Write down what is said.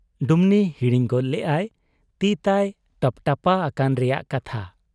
ᱰᱩᱢᱱᱤ ᱦᱤᱲᱤᱧ ᱜᱚᱫ ᱞᱮᱜ ᱟᱭ ᱛᱤᱛᱟᱭ ᱴᱟᱯᱴᱟᱯᱟ ᱟᱠᱟᱱ ᱨᱮᱭᱟᱜ ᱠᱟᱛᱷᱟ ᱾